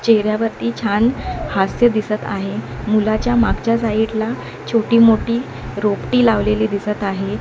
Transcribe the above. चेहऱ्यावरती छान हास्य दिसत आहे मुलाच्या मागच्या साईड ला छोटी मोठी रोपटी लावलेली दिसत आहे.